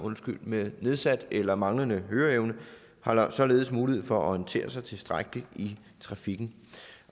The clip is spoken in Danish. med nedsat eller manglende høreevne har således mulighed for at orientere sig tilstrækkeligt i trafikken